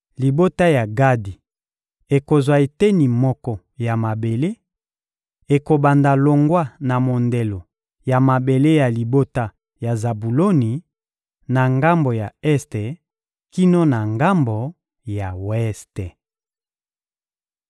Libota ya Gadi ekozwa eteni moko ya mabele: ekobanda longwa na mondelo ya mabele ya libota ya Zabuloni, na ngambo ya este kino na ngambo ya weste.